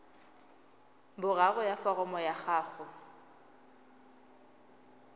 boraro ya foromo ya gago